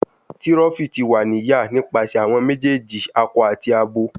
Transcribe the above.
Tiroffi ti wa ni ya nipasẹ awọn mejeeji akọ ati abo